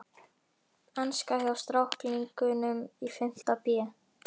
Enska hjá stráklingunum í fimmta bé.